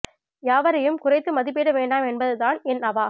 யாவரையும் குறைத்து மதிப்பீட வேண்டாம் என்பதுதான் என் அவா